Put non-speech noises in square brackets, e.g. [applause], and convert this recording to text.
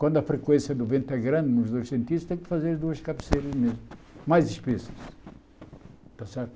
Quando a frequência do vento é grande, nos dois, [unintelligible] tem que fazer as duas cabeceiras mesmo, mais espessas. Está certo